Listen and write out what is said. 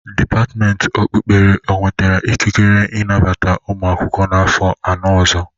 Depatimenti okpukpere o wetara ikekire inabata ụmụ akwụkwọ n'afọ anọ ọzọ?